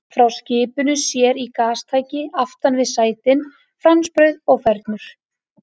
Frá skipinu sér í gastæki aftan við sætin, franskbrauð og fernur.